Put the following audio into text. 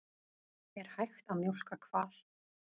Er hægt að mjólka hval?